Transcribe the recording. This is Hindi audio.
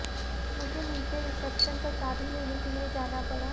मुझे नीचे रिसेप्शन पर चाबी लेने के लिए जाना पड़ा